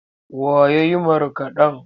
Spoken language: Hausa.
Wa ya yi markaɗen?